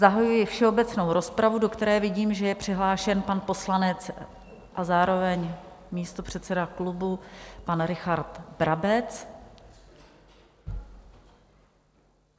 Zahajuji všeobecnou rozpravu, do které vidím, že je přihlášen pan poslanec a zároveň místopředseda klubu pan Richard Brabec.